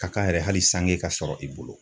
Ka kan yɛrɛ hali sange ka sɔrɔ i bolo